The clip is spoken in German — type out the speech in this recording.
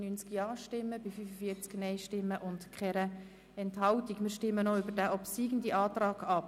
Wir stimmen nun über den obsiegenden Antrag der Regierung und der SiK ab.